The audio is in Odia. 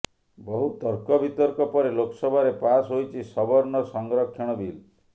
ବହୁ ତର୍କ ବିତର୍କ ପରେ ଲୋକସଭାରେ ପାସ୍ ହୋଇଛି ସବର୍ଣ୍ଣ ସଂରକ୍ଷଣ ବିଲ୍